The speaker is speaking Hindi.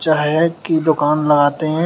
चाय की दुकान लगाते हैं।